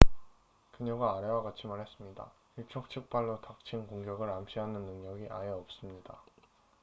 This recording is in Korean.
"그녀가 아래와 같이 말했습니다. "일촉즉발로 닥친 공격을 암시하는 능력이 아예 없습니다.